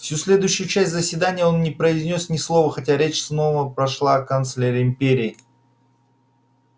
всю следующую часть заседания он не произнёс ни слова хотя речь снова пошла о канцлере империи